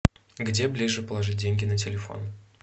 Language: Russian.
где ближе положить деньги на телефон